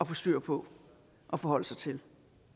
få styr på og forholde sig til